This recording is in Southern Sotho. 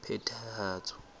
phethahatso